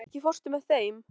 Húna, ekki fórstu með þeim?